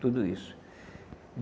Tudo isso.